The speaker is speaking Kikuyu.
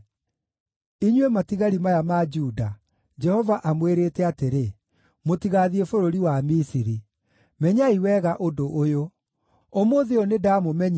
“Inyuĩ matigari maya ma Juda, Jehova amwĩrĩte atĩrĩ, ‘Mũtigaathiĩ bũrũri wa Misiri.’ Menyai wega ũndũ ũyũ: Ũmũthĩ ũyũ nĩndamũmenyithia